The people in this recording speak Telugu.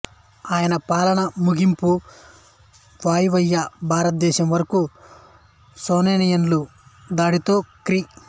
ఆయన పాలన ముగింపు వాయువ్య భారతదేశం వరకు సస్సానియన్ల దాడితో క్రీ